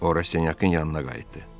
Ora Senyakın yanına qayıtdı.